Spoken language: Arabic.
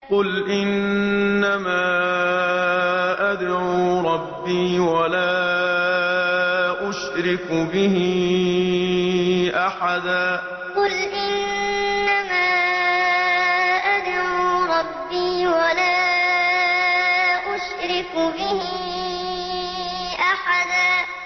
قُلْ إِنَّمَا أَدْعُو رَبِّي وَلَا أُشْرِكُ بِهِ أَحَدًا قُلْ إِنَّمَا أَدْعُو رَبِّي وَلَا أُشْرِكُ بِهِ أَحَدًا